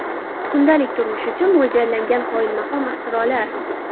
Kundalik turmush uchun mo‘ljallangan qoyilmaqom ixtirolar .